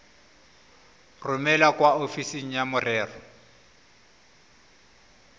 romele kwa ofising ya merero